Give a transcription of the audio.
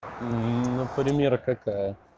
например какая